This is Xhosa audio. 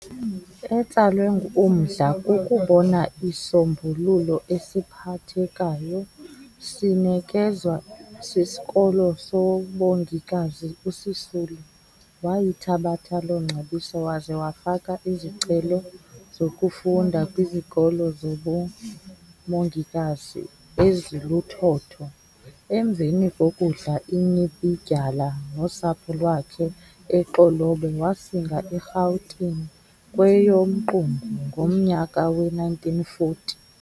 Etsalwe umdla kukubona isisombululo esiphathekayo sinekezwa siskolo sobongikazi uSisulu wayithabatha loongcebiso waze wafaka izicelo zokufunda kwizikolo zobumongikazi eziluthotho. Emveni kokudla inyibidyala nosapho lwakhe eXolobe wasinga eRhawutini kweyoMqungu ngomnyaka we-1940.